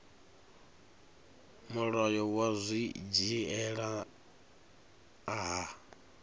mulayo wa zwi dzhiela nha